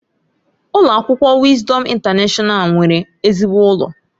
Ụlọ akwụkwọ Wisdom Intanashọnal nwere ezigbo ụlọ.